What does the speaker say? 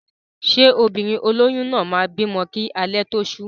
Ṣé obìnrin olóyún náà máa bímọ kí alẹ́ tó ṣú?